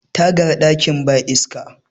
tagar dakin ba iska